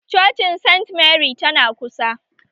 Cocin saint mary tana kusa